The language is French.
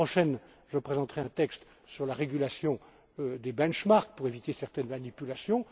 La semaine prochaine, je présenterai un texte sur la régulation des indices de référence pour éviter certaines manipulations.